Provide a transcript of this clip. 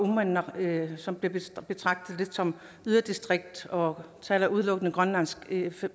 uummannaq som bliver betragtet lidt som et yderdistrikt og taler udelukkende grønlandsk i